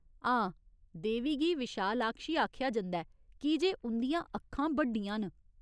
हां, देवी गी विशालाक्षी आखेआ जंदा ऐ की जे उं'दियां अक्खां बड्डियां न।